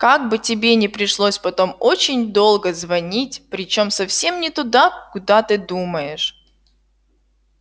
как бы тебе не пришлось потом очень долго звонить причём совсем не туда куда ты думаешь